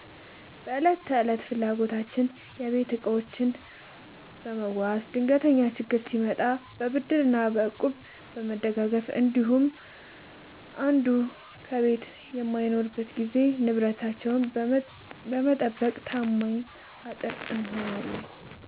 በዕለት ተዕለት ፍላጎቶች፦ የቤት ዕቃዎችን በመዋዋስ፣ ድንገተኛ ችግር ሲመጣ በብድርና በእቁብ በመደጋገፍ እንዲሁም አንዱ ከቤት በማይኖርበት ጊዜ ንብረትን በመጠባበቅ ታማኝ አጥር እንሆናለን።